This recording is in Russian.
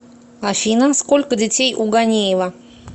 афина сколько детей у ганеева